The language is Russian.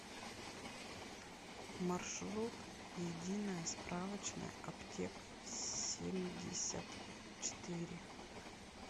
маршрут единая справочная аптек семьдесят четыре